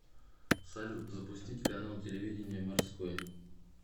салют запустить канал телевидения морской